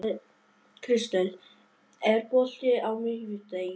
Kristel, er bolti á miðvikudaginn?